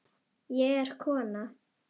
Ég er kona